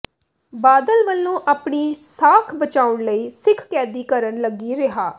ਬਾਦਲ ਵੱਲੋਂ ਆਪਣੀ ਸਾਖ਼ ਬਚਾਉਣ ਲਈ ਸਿੱਖ ਕੈਦੀ ਕਰਣ ਲੱਗੀ ਰਿਹਾਅ